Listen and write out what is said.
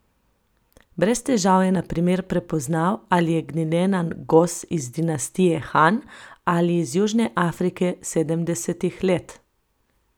Brez težav je na primer prepoznal, ali je glinena gos iz dinastije Han ali iz Južne Afrike sedemdesetih let.